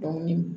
Dɔnni